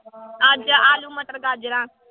ਅੱਜ ਆਲੂ ਮਟਰ ਗਾਜ਼ਰਾਂ।